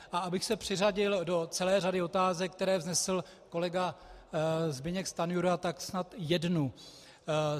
A abych se přiřadil do celé řady otázek, které vznesl kolega Zbyněk Stanjura, tak snad jednu.